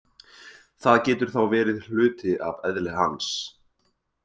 Það getur þá verið hluti af eðli hans.